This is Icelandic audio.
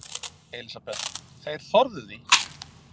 Elísabet: Þeir þorðu því?